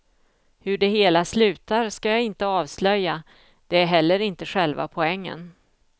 Hur det hela slutar ska jag inte avslöja, det är heller inte själva poängen.